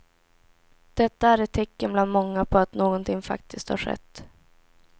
Detta är ett tecken bland många på att någonting faktiskt har skett.